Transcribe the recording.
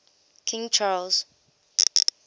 king charles